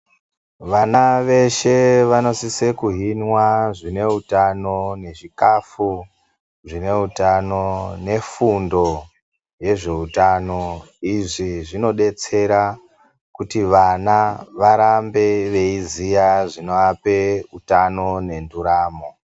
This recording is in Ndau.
Vana veshe vanosise kuhhinwa zvinewutano, nezvikafu zvinewutano, nefundi yezvewutano. Izvi zvinodetsera kuti vana varambe veyiziya zvinowape wutano nenduramo.